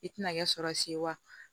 I tɛna kɛ sɔrɔ si ye wa